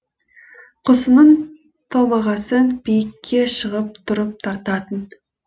құсының томағасын биікке шығып тұрып тартатын